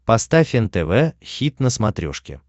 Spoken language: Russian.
поставь нтв хит на смотрешке